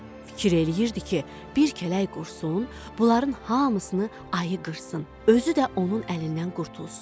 Fikir eləyirdi ki, bir kələk qursun, bunların hamısını ayı qırsın, özü də onun əlindən qurtulsun.